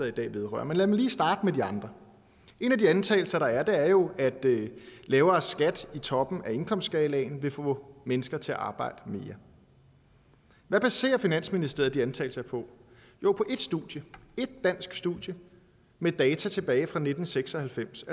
i dag vedrører men lad mig lige starte med de andre en af de antagelser der er er jo at lavere skat i toppen af indkomstskalaen vil få mennesker til at arbejde mere hvad baserer finansministeriet de antagelser på jo på ét studie et dansk studie med data tilbage fra nitten seks og halvfems